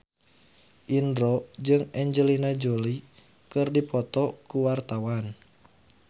Indro jeung Angelina Jolie keur dipoto ku wartawan